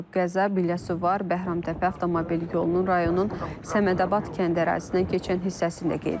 Qəza Biləsuvar-Bəhramtəpə avtomobil yolunun rayonun Səmədabad kənd ərazisindən keçən hissəsində qeydə alınıb.